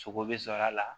Sogo bɛ sɔrɔ a la